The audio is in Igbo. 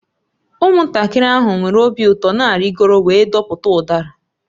Ụmụntakịrị ahụ nwere obi ụtọ na-arịgoro wee dọpụta udara